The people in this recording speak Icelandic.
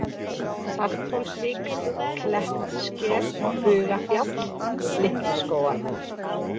Salthólsvík, Klettsker, Bugafjall, Litlu-Skógar